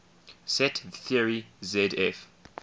set theory zf